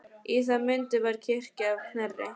Í það mund var kirkja að Knerri.